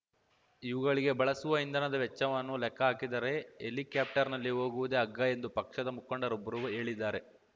ಇವುಗಳಿಗೆ ಬಳಸುವ ಇಂಧನದ ವೆಚ್ಚವನ್ನು ಲೆಕ್ಕಹಾಕಿದರೆ ಹೆಲಿಕ್ಯಾಪ್ಟರ್‌ನಲ್ಲಿ ಹೋಗುವುದೇ ಅಗ್ಗ ಎಂದು ಪಕ್ಷದ ಮುಖಂಡರೊಬ್ಬರು ಹೇಳಿದ್ದಾರೆ